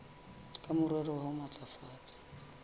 ka morero wa ho matlafatsa